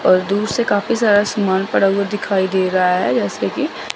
और दूर से काफी सारा समान पड़ा हुआ दिखाई दे रहा है जैसे की--